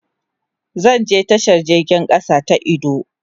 Zan je tashan jirgin kasa na idu.